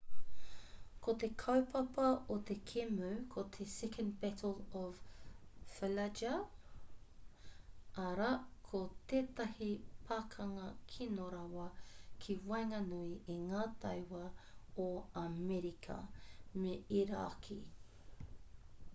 ko te kaupapa o te kēmu ko te second battle of fallujah arā ko tētahi pakanga kino rawa ki waenganui i ngā tauā o amerika me irāki